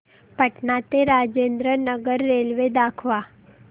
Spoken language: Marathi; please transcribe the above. पटणा ते राजेंद्र नगर रेल्वे दाखवा